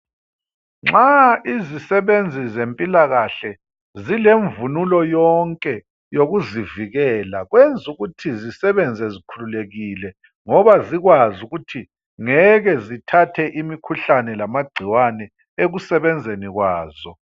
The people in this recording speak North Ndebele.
Nxa izisebenzi zempilakahle zilemvunulo yonke yokuzivikela, kwenzukuthi zisebenze zikhululekile ngoba zikwazi ukuthi ngeke zithathe imikhuhlane lamagcikwane ekusebenzeni kwazo.